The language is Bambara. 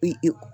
I